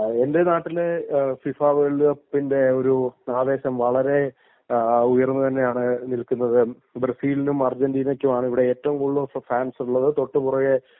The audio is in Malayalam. എന്റെ നാട്ടിലി ഫിഫ വേൾഡ് കപ്പിന്റെ ഒരു ആവേശം വളരെ ഉയർന്നു തന്നെയാണ് നിൽക്കുന്നത് .ബ്രസീലിനും അർജന്റീനക്കും തന്നെയാണ് ഏറ്റവും കൊടുത്താണ് ഫാൻസ്‌ ഉള്ളത് .